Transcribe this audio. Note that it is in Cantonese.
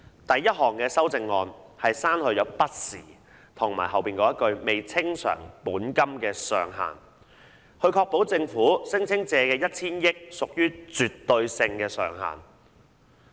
第一項修訂議案是刪去"不時"和"未清償本金的上限"，以確保政府聲稱借的 1,000 億元是絕對上限。